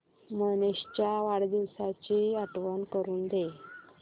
मनीष च्या वाढदिवसाची आठवण करून दे